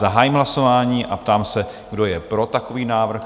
Zahájím hlasování a ptám se, kdo je pro takový návrh?